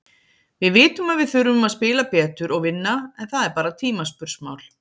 Við vitum að við þurfum að spila betur og vinna, en það er bara tímaspursmál.